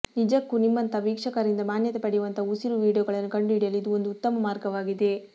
ನಿಜಕ್ಕೂ ನಿಮ್ಮಂತಹ ವೀಕ್ಷಕರಿಂದ ಮಾನ್ಯತೆ ಪಡೆಯುವಂತಹ ಉಸಿರು ವೀಡಿಯೊಗಳನ್ನು ಕಂಡುಹಿಡಿಯಲು ಇದು ಒಂದು ಉತ್ತಮ ಮಾರ್ಗವಾಗಿದೆ